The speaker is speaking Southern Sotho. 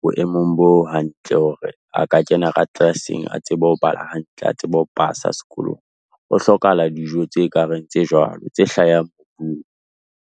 boemong bo hantle hore a ka kena ka class-eng a tsebe ho bala hantle, a tsebe ho pasa sekolong. Ho hlokahala dijo tse ka reng tse jwalo, tse hlahang mobung.